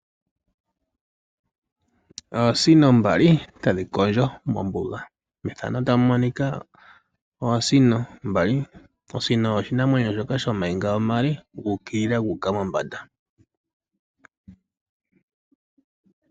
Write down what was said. Oosino mbali tadhi kondjo mombuga. Methano otamu monika oosino mbali. Osino oshinamwenyo shoka shooniga oonde dhu ukilila gu uka mombanda.